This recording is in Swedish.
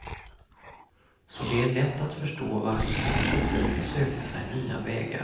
Så det är lätt att förstå varför filosofin sökte sig nya vägar.